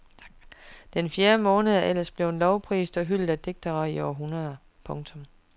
Den fjerde måned er ellers blevet lovprist og hyldet af digtere i århundreder. punktum